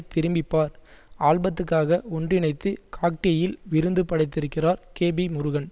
திரும்பிப்பார் ஆல்பத்துக்காக ஒன்றிணைத்து காக்டெயில் விருந்து படைத்திருக்கிறார் கேபி முருகன்